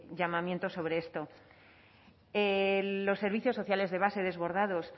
llamamiento sobre esto los servicios sociales de base desbordados